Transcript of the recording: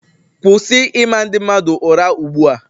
Kwụsị ịma ndị mmadụ ụra ugbua!